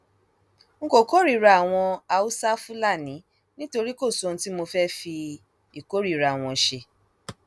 n kò kórìíra àwọn haúsáfúlani nítorí kò sóhun tí mo fẹẹ fi ìkórìíra wọn ṣe